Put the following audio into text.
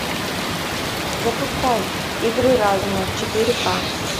запускай игры разума четыре ка